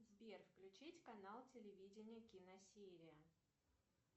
сбер включить канал телевидения киносерия